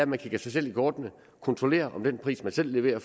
man kigger sig selv i kortene kontrollerer om den pris man selv leverer